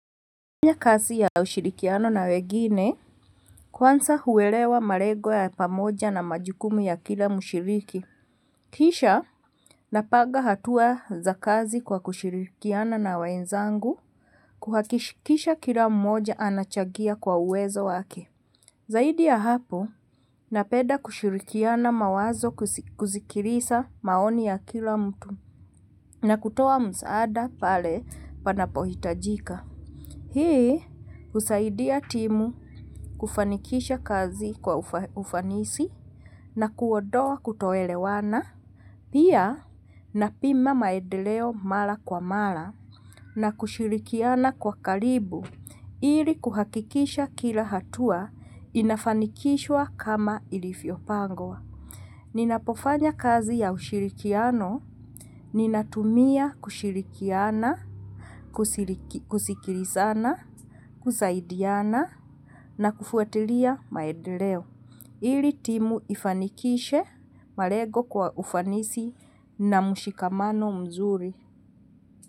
Kutumia kasi ya ushirikiano na wengine, kuansa huwelewa malengo ya pamoja na majukumu ya kila mshiriki. Kisha, napaga hatua za kazi kwa kushirikiana na wenzangu, kuhakikisha kila mmoja anachagia kwa uwezo wake. Zaidi ya hapo, napeda kushirikiana mawazo kuzikirisa maoni ya kila mtu na kutowa msaada pale panapohitajika. Hii usaidia timu kufanikisha kazi kwa ufanisi na kuodowa kutoelewana. Pia napima maedeleo mala kwa mala na kushirikiana kwa kalibu ili kuhakikisha kila hatua inafanikishwa kama ilifyo pangwa. Ninapofanya kazi ya ushirikiano, ninatumia kushirikiana, kusikilizana, kusaidiana na kufuatilia maedeleo. Ili timu ifanikishe, malego kwa ufanisi na mushikamano mzuri.